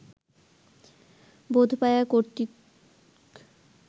বোধপায়া কর্তৃক